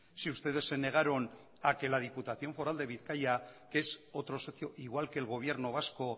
si ustedes se negaron a que la diputación foral de bizkaia que es otros socio igual que el gobierno vasco